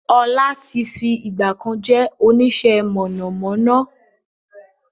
Ọlá tí fi ìgbàkan jẹ́ onisẹ́ mọ̀nàmọ́ná